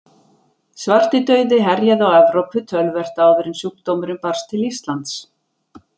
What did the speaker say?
Svartidauði herjaði á Evrópu töluvert áður en sjúkdómurinn barst til Íslands.